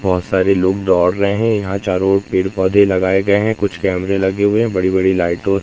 बहोत सारी लोग दौड़ रहे हैं यहां चारों ओर पेड़ पौधे लगाए गए हैं कुछ कैमरे लगे हुए है बड़ी बड़ी लाइटों --